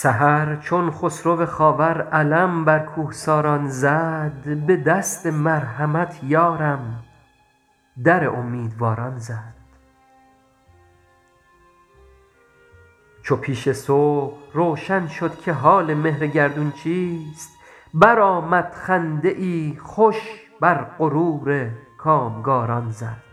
سحر چون خسرو خاور علم بر کوهساران زد به دست مرحمت یارم در امیدواران زد چو پیش صبح روشن شد که حال مهر گردون چیست برآمد خنده ای خوش بر غرور کامگاران زد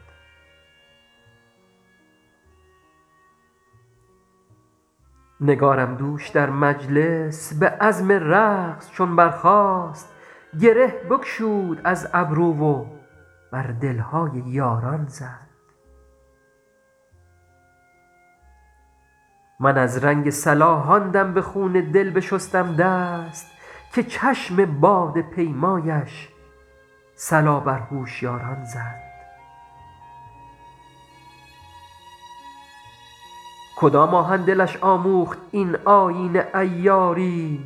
نگارم دوش در مجلس به عزم رقص چون برخاست گره بگشود از گیسو و بر دل های یاران زد من از رنگ صلاح آن دم به خون دل بشستم دست که چشم باده پیمایش صلا بر هوشیاران زد کدام آهن دلش آموخت این آیین عیاری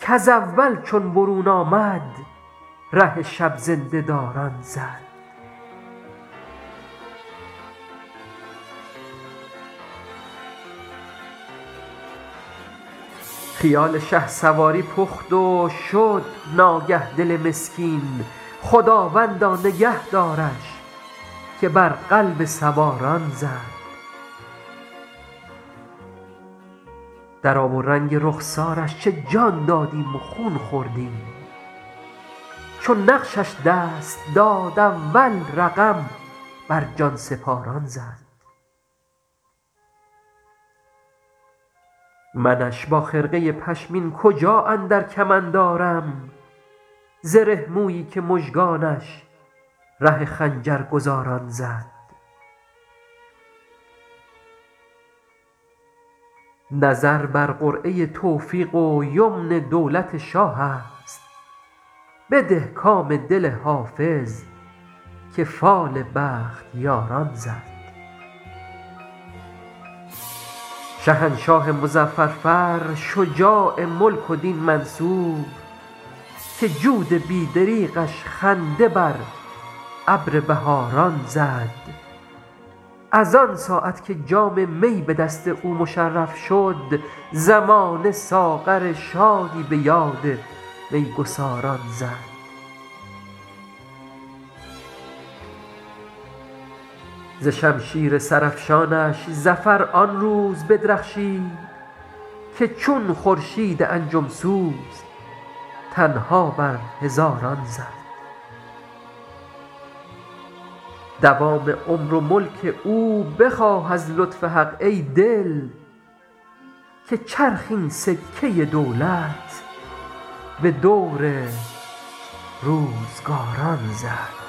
کز اول چون برون آمد ره شب زنده داران زد خیال شهسواری پخت و شد ناگه دل مسکین خداوندا نگه دارش که بر قلب سواران زد در آب و رنگ رخسارش چه جان دادیم و خون خوردیم چو نقشش دست داد اول رقم بر جان سپاران زد منش با خرقه پشمین کجا اندر کمند آرم زره مویی که مژگانش ره خنجرگزاران زد نظر بر قرعه توفیق و یمن دولت شاه است بده کام دل حافظ که فال بختیاران زد شهنشاه مظفر فر شجاع ملک و دین منصور که جود بی دریغش خنده بر ابر بهاران زد از آن ساعت که جام می به دست او مشرف شد زمانه ساغر شادی به یاد می گساران زد ز شمشیر سرافشانش ظفر آن روز بدرخشید که چون خورشید انجم سوز تنها بر هزاران زد دوام عمر و ملک او بخواه از لطف حق ای دل که چرخ این سکه دولت به دور روزگاران زد